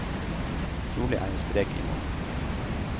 Trolig er jeg sprek i morgen.